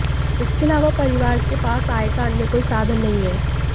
इसके अलावा परिवार के पास आय का अन्य कोई साधन नहीं है